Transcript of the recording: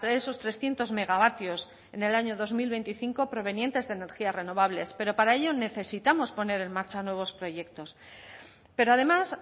esos trescientos megavatios en el año dos mil veinticinco provenientes de energías renovables pero para ello necesitamos poner en marcha nuevos proyectos pero además